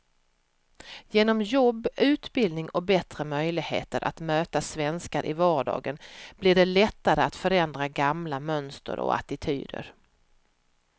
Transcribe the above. Genom jobb, utbildning och bättre möjligheter att möta svenskar i vardagen blir det lättare att förändra gamla mönster och attityder.